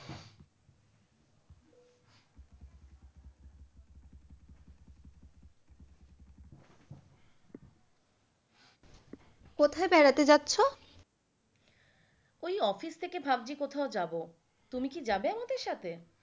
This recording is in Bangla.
কোথায় বেড়াতে যাচ্ছো? ওই office থেকে ভাবছি কোথায় যাবো, তুমি কি যাবে আমাদের সাথে?